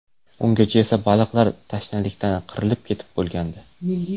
Ungacha esa baliqlar tashnalikdan qirilib ketib bo‘lgandi.